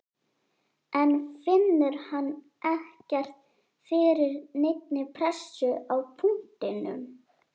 En finnur hann ekkert fyrir neinni pressu á punktinum?